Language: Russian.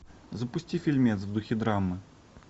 запусти фильмец в духе драмы